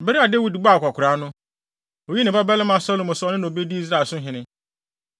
Bere a Dawid bɔɔ akwakoraa no, oyii ne babarima Salomo sɛ ɔno na obedi Israel so hene.